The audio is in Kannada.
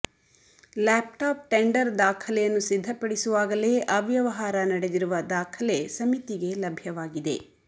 ಲ್ಯಾಪ್ಟಾಪ್ ಟೆಂಡರ್ ದಾಖಲೆಯನ್ನು ಸಿದ್ಧಪಡಿಸುವಾಗಲೇ ಅವ್ಯವಹಾರ ನಡೆದಿರುವ ದಾಖಲೆ ಸಮಿತಿಗೆ ಲಭ್ಯವಾಗಿದೆ